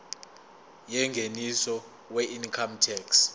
yengeniso weincome tax